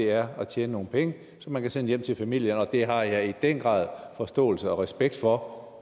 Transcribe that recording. er at tjene nogle penge som man kan sende hjem til familien det har jeg i den grad forståelse og respekt for